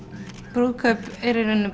brúðkaup eru í rauninni